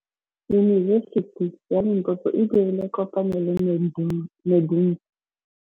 Yunibesiti ya Limpopo e dirile kopanyô le MEDUNSA.